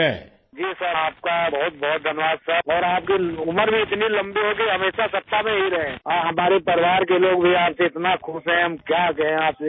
Rajesh Prajapati ji sir, آپ کا بہت بہت شکریہ سر، آپ کی عمر بھی اتنی لمبی ہو کہ ہمیشہ اقتدار میں ہی رہیں، اور ہمارے خاندان کے لوگ بھی آپ سے اتنا خوش ہیں، کیا کہیں آپ سے